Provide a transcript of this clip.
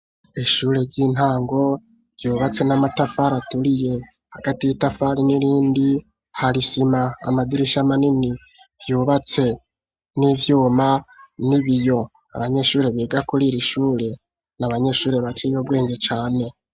Ishure ry'intango ryubatse n'amatafari aturiye, hagati y'itafari n'irindi hari sima, amadirisha manini ryubatse n'ivyuma n'ibiyo, abanyeshuri biga kuriri shure n'abanyeshuri baciye ubwenge cane.